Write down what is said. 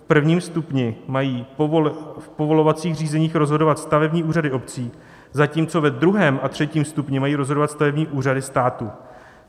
V prvním stupni mají v povolovacích řízeních rozhodovat stavební úřady obcí, zatímco ve druhém a třetím stupni mají rozhodovat stavební úřady státu.